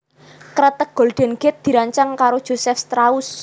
Kreteg Golden Gate dirancang karo Joseph Strauss